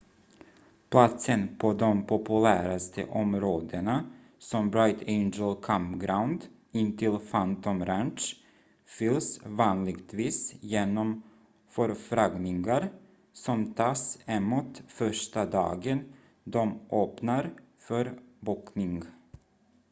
platsen på de populäraste områdena som bright angel campground intill phantom ranch fylls vanligtvis genom förfrågningar som tas emot första dagen de öppnar för bokning